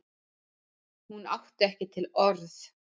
Hún átti ekki til orð.